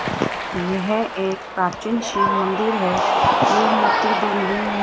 यह एक प्राचीन शिव मंदिर है ये मंदिर दुहु में--